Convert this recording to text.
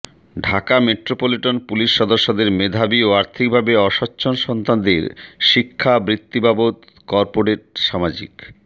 Dhaka metropolitan police সদস্যদের মেধাবী ও আর্থিকভাবে অসচ্ছ্বল সন্তানদের শিক্ষা বৃত্তি বাবদ কর্পোরেট সামাজিক